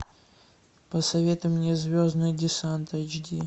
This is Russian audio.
посоветуй мне звездный десант эйч ди